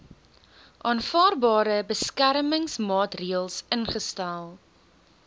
aanvaarbare beskermingsmaatreels ingestel